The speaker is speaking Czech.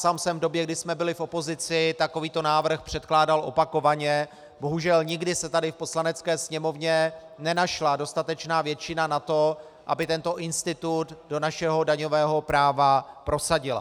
Sám jsem v době, kdy jsme byli v opozici, takovýto návrh předkládal opakovaně, bohužel nikdy se tady v Poslanecké sněmovně nenašla dostatečná většina na to, aby tento institut do našeho daňového práva prosadila.